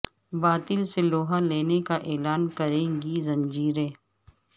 باطل سے لوہا لینے کا اعلان کریں گی زنجیریں